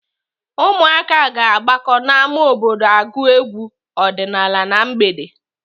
Ụmụaka ga-agbakọ n'ámá obodo agụ egwu ọdịnaala na mgbede.